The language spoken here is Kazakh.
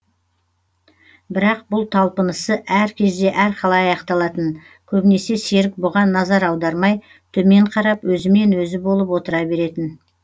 бірақ бұл талпынысы әр кезде әрқалай аяқталатын көбінесе серік бұған назар аудармай төмен қарап өзімен өзі болып отыра беретін